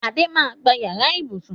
Adé máa gba yàrá ibùsùn